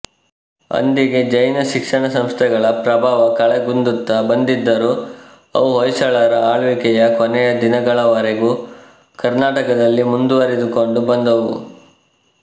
ಅಂದಿಗೆ ಜೈನ ಶಿಕ್ಷಣಸಂಸ್ಥೆಗಳ ಪ್ರಭಾವ ಕಳೆಗುಂದುತ್ತ ಬಂದಿದ್ದರೂ ಅವು ಹೊಯ್ಸಳರ ಆಳ್ವಿಕೆಯ ಕೊನೆಯ ದಿನಗಳವರೆಗೂ ಕರ್ನಾಟಕದಲ್ಲಿ ಮುಂದುವರಿದು ಕೊಂಡು ಬಂದುವು